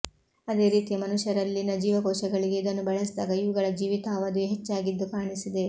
ಅದೇ ರೀತಿಯ ಮನುಷ್ಯರಲ್ಲಿನ ಜೀವಕೋಶಗಳಿಗೆ ಇದನ್ನು ಬಳಸಿದಾಗ ಇವುಗಳ ಜೀವಿತಾವಧಿಯೂ ಹೆಚ್ಚಾಗಿದ್ದು ಕಾಣಿಸಿದೆ